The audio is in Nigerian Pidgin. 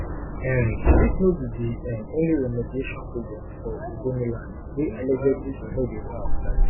um dis no be di um only remediation project for ogoniland wey allegedly no dey work